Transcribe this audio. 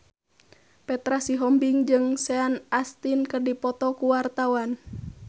Petra Sihombing jeung Sean Astin keur dipoto ku wartawan